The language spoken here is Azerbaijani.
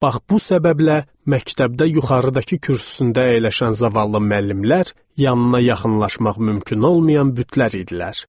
Bax bu səbəblə məktəbdə yuxarıdakı kürsüsündə əyləşən zavallı müəllimlər yanına yaxınlaşmaq mümkün olmayan bütlər idilər.